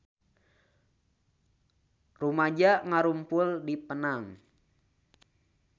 Rumaja ngarumpul di Penang